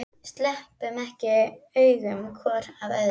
Sleppum ekki augum hvor af öðrum.